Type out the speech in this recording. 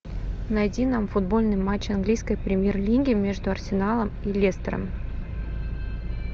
найди нам футбольный матч английской премьер лиги между арсеналом и лестером